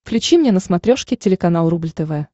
включи мне на смотрешке телеканал рубль тв